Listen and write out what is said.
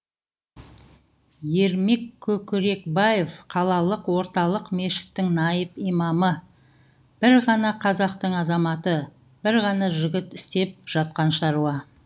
ермек көкірекбаев қалалық орталық мешіттің наиб имамы бір ғана қазақтың азаматы бір ғана жігіт істеп жатқан шаруа